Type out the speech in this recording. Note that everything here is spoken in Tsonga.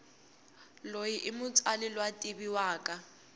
loyi imutsali lwativiwaka